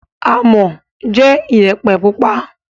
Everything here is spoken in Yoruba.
Amọ̀ jẹ́ Iyẹ̀pẹ̀ pupa